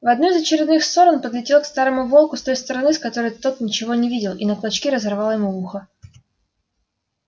в одну из очередных ссор он подлетел к старому волку с той стороны с которой тот ничего не видел и на клочки разорвал ему ухо